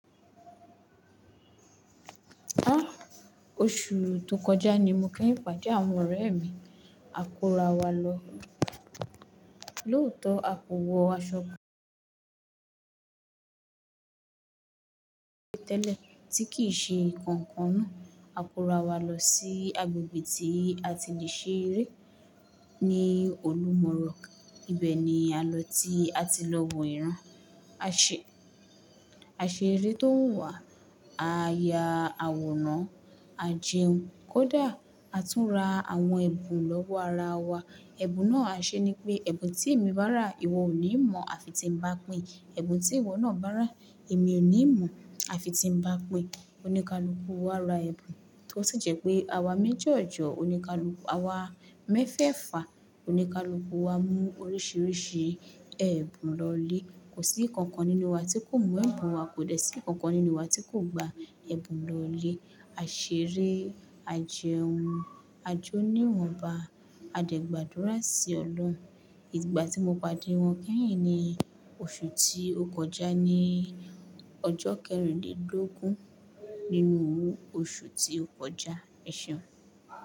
Áaa, oṣù tó kọjá ni mo kanyiń pade àwọn ọ̀rẹ́ mi. A kóra wa lọ lóòtọ́ à pòwọ́ aṣọ tẹ́lẹ̀ tí kì í ṣe kankan naa. A kóra wa lọ sí agbègbè tí a ti lè ṣe eré ní Olúmọrọ̀. Ibẹ̀ ni a lọ tí a ti lọ wò ìran. A ṣé, a ṣeré tó wuwaà, a ya àwòrán, a jẹun, kódà a tún ra àwọn ẹ̀bùn lọ́wọ́ ara wa. Ẹ̀bùn náà a ṣe ni pé ẹ̀bùn tí èmi bá rà ìwọ ò ní mọ̀ àfi tí n ba pin. Ẹ̀bùn tí ìwọ náà bá rà èmi ò ní mọ̀ àfi tí n ba pin. Oníkálùú wa ra ẹ̀bùn tó si jẹ́ pé àwa méjọ ọjọ́, oníkálùú, àwa mẹ́fẹ̀fà, oníkálùkú wa mú oríṣiríṣi ẹ̀bùn lọlé. Kò sí ikankan nínú wa tí kò mú ẹ̀bùn wa, kò dẹ̀ sí ikankan nínú wa tí kò gba ẹ̀bùn lọlé. A ṣeré, a jẹun, a jó níwọ̀nba, a dẹ̀ gbàdúrà sí Ọlọ́run. Ìgbà tí mo pàdé wọn kanyìn ni oṣù tí ó kọjá ní ọjọ́ kẹrìndínlógún nínú oṣù tí ó kọjá, ẹ̀ seun.